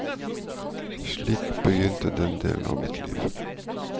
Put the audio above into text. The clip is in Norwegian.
Slik begynte den delen av mitt liv.